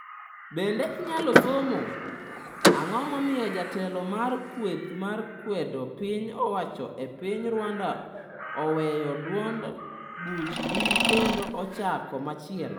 Bende inyalo somo: Ang’o momiyo jatelo mar kweth ma kwedo piny owacho e piny Rwanda oweyo duond buchgi kendo ochako machielo?